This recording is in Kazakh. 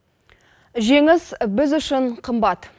жеңіс біз үшін қымбат